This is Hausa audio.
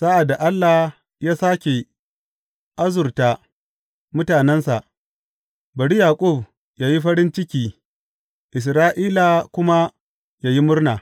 Sa’ad da Allah ya sāke arzuta mutanensa, bari Yaƙub yă yi farin ciki Isra’ila kuma yă yi murna!